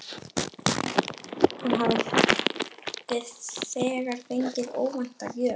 Hann hafði þegar fengið óvænta gjöf.